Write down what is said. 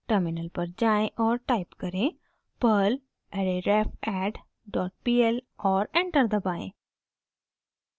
terminal पर जाएँ और टाइप करें: perl arrayrefadd डॉट pl और एंटर दबाएं